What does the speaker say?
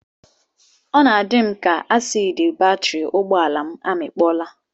Ọ na-adị m ka asiidi batịrị ụgbọala m amịkpọọla